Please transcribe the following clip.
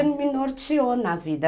Porque me norteou na vida.